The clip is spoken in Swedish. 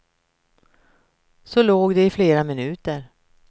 Så låg de i flera minuter.